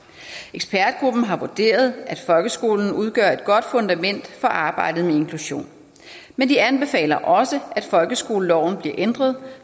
ekspertgruppen har vurderet at folkeskolen udgør et godt fundament for arbejdet med inklusion men de anbefaler også at folkeskoleloven bliver ændret